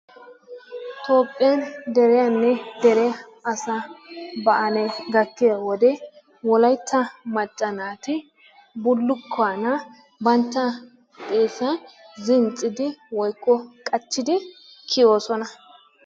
Toophphiyan deriyaanne dere asaa ba'alee gattiya wode wolayitta macca naati bullukkuwaana bantta bantta xeessaa danccidi woyikko qachchidi kiyoosona.